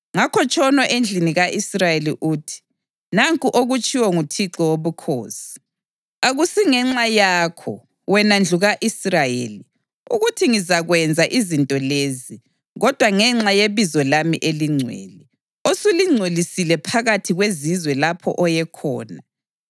Ngakho tshono endlini ka-Israyeli uthi, ‘Nanku okutshiwo nguThixo Wobukhosi: Akusingenxa yakho, wena ndlu ka-Israyeli, ukuthi ngizakwenza izinto lezi, kodwa ngenxa yebizo lami elingcwele, osulingcolisile phakathi kwezizwe lapho oye khona.